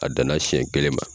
A danna sɛn kelen ma